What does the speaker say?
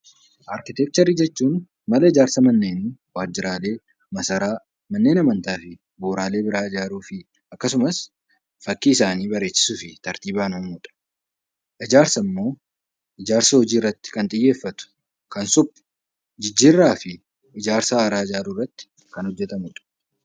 Arkitekcharii jechuun mana ijaarsa Manneenii, Waajjiraalee, Masaraa, Manneen Amantaa fi bu'uraalee biraa ijaaruu fi akkasumas fakkii isaanii bareechisuufi tartiibaan uumuu dha. Ijaarsi ammoo ijaarsa hojii irratti kan xiyyeeffatu, kan suphu, jijjiirraa fi ijaarsa haaraa ijaaruu irratti kan hojjetamu dha.